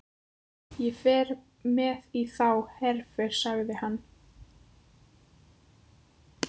Ég fer með í þá herför, sagði hann.